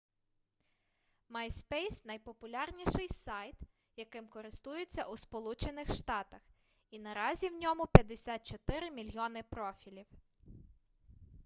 myspace найпопулярніший сайт яким користуються у сполучених штатах і наразі в ньому 54 мільйони профілів